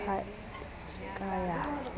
ha e ya ka ya